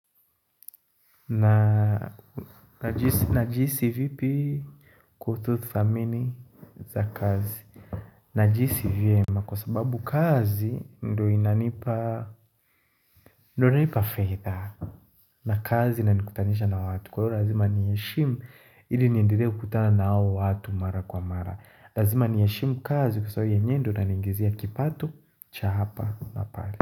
Najihisi vipi kuhusu thamini za kazi Najihisi vema kwa sababu kazi ndo inanipa ndo inanipa fedha na kazi inanikutanisha na watu kwa hilo lazima nii heshimu ili niendelee kukutana na hao watu mara kwa mara Lazima niiheshimu kazi kwa sababu yenyewe ndiyo inangizia kipato cha hapa na pale.